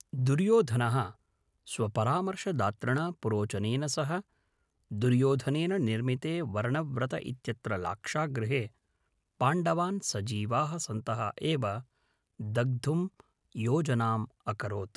दुर्योधनः स्वपरामर्शदातृणा पुरोचनेन सह, दुर्योधनेन निर्मिते वर्णव्रत इत्यत्र लाक्षागृहे पाण्डवान् सजीवाः सन्तः एव दग्धुं योजनाम् अकरोत्